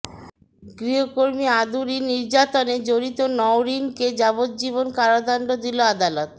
গৃহকর্মী আদুরী নির্যাতনে জড়িত নওরীনকে যাবজ্জীবন কারাদণ্ড দিল আদালত